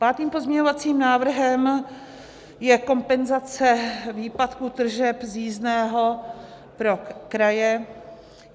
Pátým pozměňovacím návrhem je kompenzace výpadku tržeb z jízdného pro kraje.